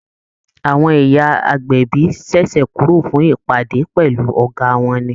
Àwọn ìyá agbẹ̀bí ṣẹ̀ṣẹ̀ kúrò fún ìpàdé pẹ̀lú Ọ̀gá wọn ni